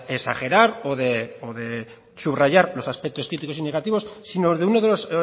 de exagerar o de subrayar los aspectos críticos y negativos sino de uno de los